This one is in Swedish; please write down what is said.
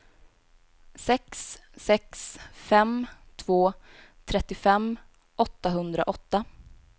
sex sex fem två trettiofem åttahundraåtta